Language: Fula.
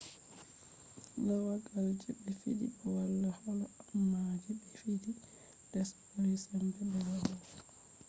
lagawal je be fidi do wala holo amma je be fidi les buri sembe be yawugo